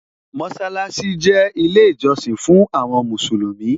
Mósálásí jẹ́ ilé ìjọsìn fún àwọn Mùsùlùmí